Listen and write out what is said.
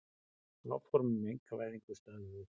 Áform um einkavæðingu stöðvuð